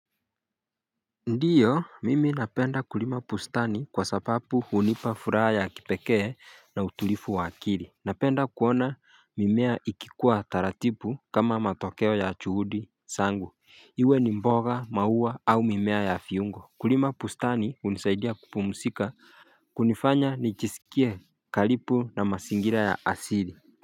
Ndiyo mimi napenda kulima bustani kwa sababu hunipa furaha ya kipekee na utulivu wa akili Napenda kuona mimea ikikua taratibu kama matokeo ya juhudi zangu Iwe ni mboga maua au mimea ya kiungo Kulima bustani unisaidia kupumzika kunifanya nijisikie karibu na mazingira ya asili.